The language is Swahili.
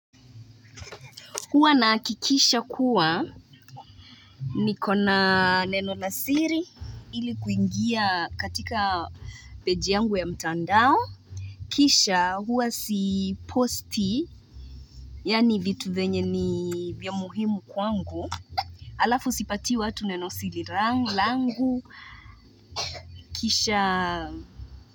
Huwa nahakikisha kuwa ni kona neno na siri ili kuingia katika page yangu ya mtandao. Kisha huwa si posti, yani vitu venye ni vya muhimu kwangu. Alafu sipatii watu neno siri langu, kisha.